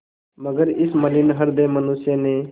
मगर इस मलिन हृदय मनुष्य ने